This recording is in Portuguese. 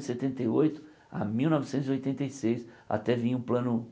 Setenta e oito a mil novecentos e oitenta e seis, até vir o Plano